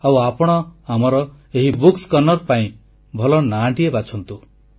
ଆଉ ଆପଣ ଭଲ ନାଁଟିଏ ବାଛନ୍ତୁ